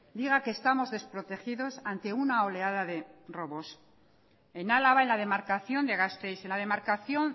diga que estamos desprotegidos ante una oleada de robos en álava en la demarcación de gasteiz en la demarcación